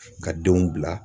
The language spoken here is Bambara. Ka denw bila